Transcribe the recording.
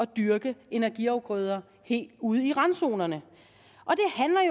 dyrke energiafgrøder helt ude i randzonerne